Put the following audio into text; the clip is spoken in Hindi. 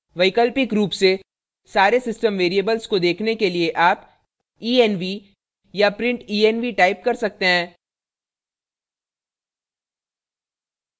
वैकल्पिक रूप से सारे system variables को देखने के लिए आप env या printenv type कर सकते हैं